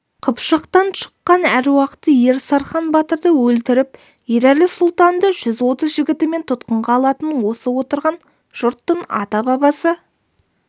қыпшақтан шыққан әруақты ер сархан батырды өлтіріп ерәлі сұлтанды жүз отыз жігітімен тұтқынға алатын осы отырған жұрттың ата-бабасы